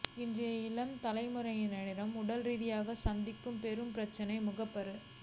இன்றைய இளம் தலைமுறையினர் உடல்ரீதியாக சந்திக்கும் பெரும் பிரச்னை முகப்பரு